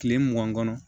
Kile mugan kɔnɔ